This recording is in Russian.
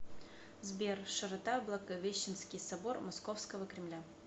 сбер широта благовещенский собор московского кремля